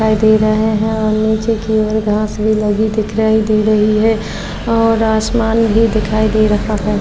दिखाई दे रहा है और नीचे की ओर घांस भी लगी दिखराई दे रही है और आसमान भी दिखराई दे रहा है।